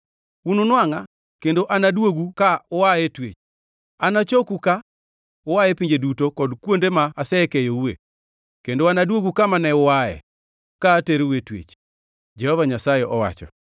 Ununwangʼa kendo anaduogu ka ua e twech. Anachoku ka ua e pinje duto kod kuonde ma asekeyoue kendo anaduogu kama ne uae ka aterou e twech,” Jehova Nyasaye owacho.